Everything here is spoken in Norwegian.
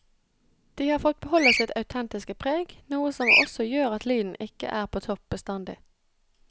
Det har fått beholde sitt autentiske preg, noe som også gjør at lyden ikke er på topp bestandig.